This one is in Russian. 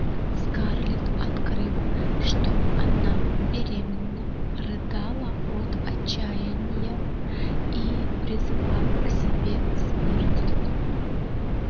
скарлетт открыв что она беременна рыдала от отчаяния и призывала к себе смерть